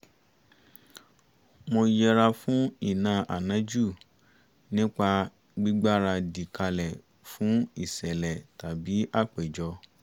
mo yẹra fún ìná ànájú nípa gbígbaradì kalẹ̀ fún ìṣẹ̀lẹ̀ tàbí àpéjọ